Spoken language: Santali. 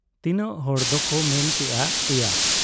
ᱛᱤᱱᱟᱹᱜ ᱦᱚᱲ ᱫᱚᱠᱚ ᱢᱮᱱ ᱠᱮᱜ ᱟ ᱮᱭᱟ ᱾